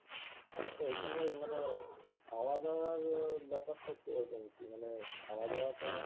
তো ওইখানে মানে খাওয়া দাওয়ার ব্যপারটা কিরকম কী মানে খাওয়া দাওয়াটা